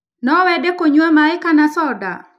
No wende kũnyua maĩ kana soda?